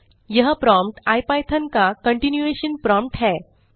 यह prompt IPython का continuation prompt है